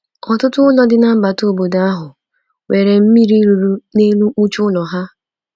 Ọtụtụ ụlọ dị na mbata obodo ahụ nwere mmiri ruru n’elu mkpuchi ụlọ ya.